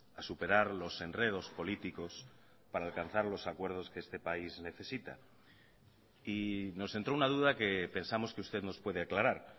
a superar los enredos políticos para alcanzar los acuerdos que este país necesita y nos entró una duda que pensamos que usted nos puede aclarar